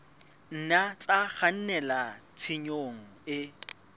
nna tsa kgannela tshenyong e